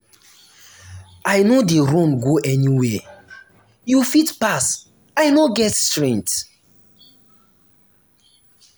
i no dey run go anywhere you fit pass i no get strength